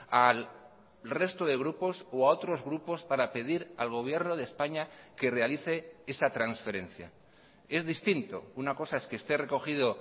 al resto de grupos o a otros grupos para pedir al gobierno de españa que realice esa transferencia es distinto una cosa es que esté recogido